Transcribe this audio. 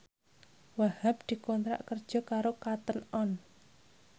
Wahhab dikontrak kerja karo Cotton On